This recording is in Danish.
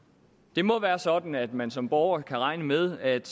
det må være sådan at man som borger kan regne med at